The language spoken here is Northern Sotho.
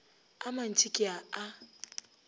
a mantši ke a a